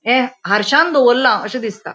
हे हार्श्यान दोवोरला अशे दिसता.